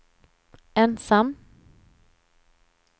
ensam